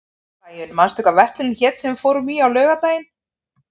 Sæunn, manstu hvað verslunin hét sem við fórum í á laugardaginn?